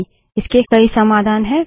नहीं इसके कई समाधान हैं